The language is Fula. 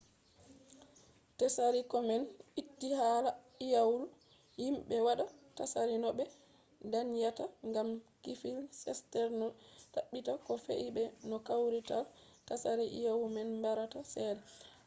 tsari komen itti hala iyalu himɓe waɗa tsari no ɓe danyata gam klif sterns ɗo ɗaɓɓita ko fe’i be no kawrital tsari iyalu man barata cede